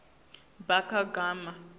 bakagama